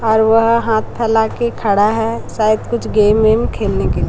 और वह हाथ फैला के खड़ा है शायद कुछ गेम वेम खेलने के--